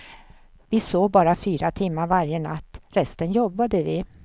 Vi sov bara fyra timmar varje natt, resten jobbade vi.